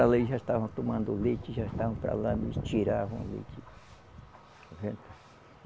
já estavam tomando o leite, já estavam para lá, eles tiravam o leite.